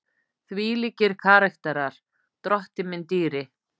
Þvílíkir karakterar, drottinn minn dýri!